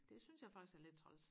det synes jeg faktisk er lidt træls